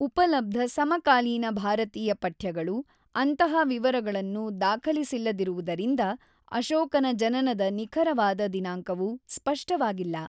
ಉಪಲಬ್ಧ ಸಮಕಾಲೀನ ಭಾರತೀಯ ಪಠ್ಯಗಳು ಅಂತಹ ವಿವರಗಳನ್ನು ದಾಖಲಿಸಿಲ್ಲದಿರುವುದರಿಂದ ಅಶೋಕನ ಜನನದ ನಿಖರವಾದ ದಿನಾಂಕವು ಸ್ಪಷ್ಟವಾಗಿಲ್ಲ.